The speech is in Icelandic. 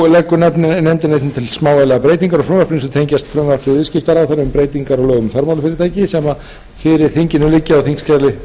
þá leggur nefndin einnig til smávægilegar breytingar á frumvarpinu sem tengjast frumvarpi viðskiptaráðherra um breytingar á lögum um fjármálafyrirtæki sem fyrir þinginu liggja á þingskjali